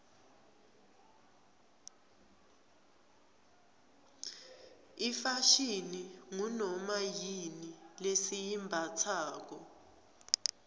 ifashini ngunoma yini lesiyimbatsako